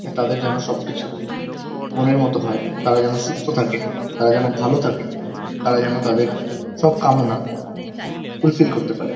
তাদের যেন সবকিছু মনের মতো হয়। তারা যেন সুস্থ থাকে। তারা যেন ভালো থাকে। তারা যেন তাদের সব কামনা ফুলফিল করতে পারে ।